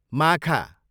माखा